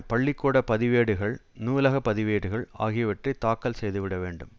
பள்ளி கூட பதிவேடுகள் நூலக பதிவேடுகள் ஆகியவற்றை தாக்கல் செய்துவிட வேண்டும்